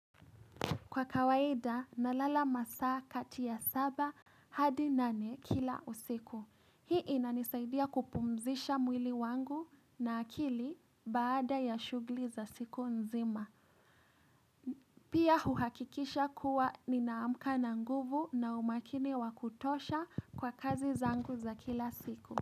Kwa kawaida, nalala masaa kati ya saba hadi nane kila usiku. Hii inanisaidia kupumzisha mwili wangu na akili baada ya shugli za siku nzima. Pia uhakikisha kuwa ninaamka na nguvu na umakini wakutosha kwa kazi zangu za kila siku.